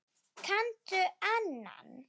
Kanntu annan?